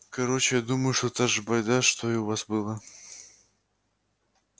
короче думаю что та же байда что и у вас было